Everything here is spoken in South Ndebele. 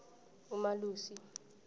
umalusi